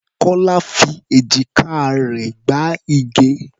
Kọ́lá fi èjìká rẹ̀ gbá Ige.